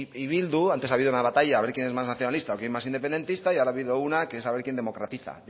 y bildu antes ha habido una batalla a ver quién es más nacionalista o quién más independentista y ahora ha habido una que es a ver quién democratiza